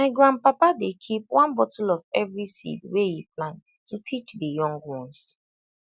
my grandpapa dey keep one bottle of every seed wey he plant to teach the young ones